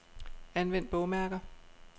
Anvend bogmærker.